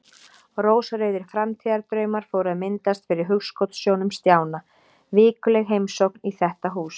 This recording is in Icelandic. Rósrauðir framtíðardraumar fóru að myndast fyrir hugskotssjónum Stjána: Vikuleg heimsókn í þetta hús.